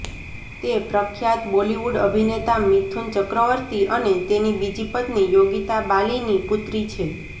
તે પ્રખ્યાત બોલીવુડ અભિનેતા મિથુન ચક્રવર્તી અને તેની બીજી પત્ની યોગીતા બાલીની પુત્રી છે